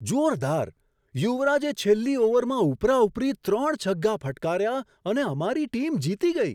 જોરદાર! યુવરાજે છેલ્લી ઓવરમાં ઉપરાઉપરી ત્રણ છગ્ગા ફટકાર્યા અને અમારી ટીમ જીતી ગઈ.